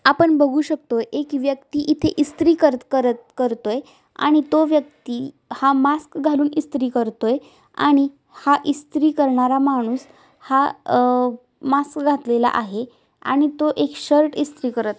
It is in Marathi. आपण बघू शकतो एक व्यक्ती इथे इस्त्री करत करत करतोय आणि तो व्यक्ती हा मास्क घालून इस्त्री करतोय आणि हा इस्त्री करणारा माणूस हा अ मास्क घातलेला आहे आणि तो एक शर्ट इस्त्री करत--